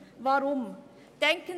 Weshalb dies?